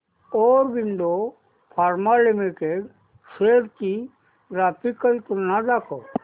Aurobindo Pharma Limited shares ची graphical तुलना दाखव